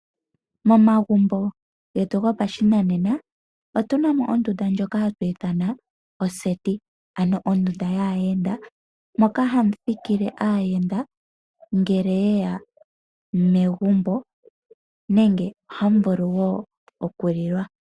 Momagumbo getu gopashinanena otuna mo ondunda ndjoka hatu ithana oseti, ano ondunda yaayenda mokahamu thikile aayenda ngele ye ya megumbo, nenge ohamu vulu wo okulilwa.